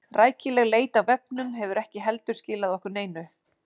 Rækileg leit á vefnum hefur ekki heldur skilað okkur neinu.